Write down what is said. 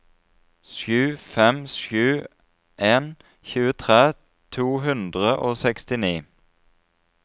sju fem sju en tjuetre to hundre og sekstini